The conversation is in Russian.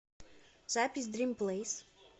запись дрим плэйс